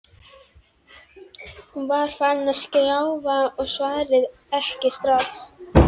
Hún var farin að skjálfa og svaraði ekki strax.